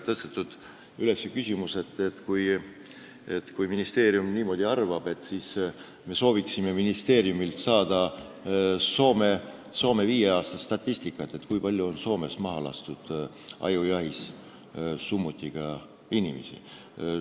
Tõstatati ka küsimus, et kui ministeerium niimoodi arvab, siis komisjon soovib ministeeriumilt saada Soome viie aasta statistikat, kui palju on Soomes ajujahi ajal summutiga relvast inimesi maha lastud.